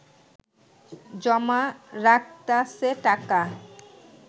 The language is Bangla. জমা রাখতাছে টাকা